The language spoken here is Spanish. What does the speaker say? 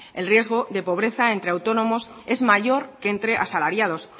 el riesgo de pobreza entre autónomos es mayor que entre asalariados